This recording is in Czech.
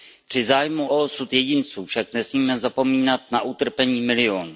Při zájmu o osud jedinců však nesmíme zapomínat na utrpení milionů.